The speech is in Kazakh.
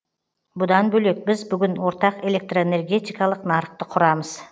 бұдан бөлек біз бүгін ортақ электроэнергетикалық нарықты құрамыз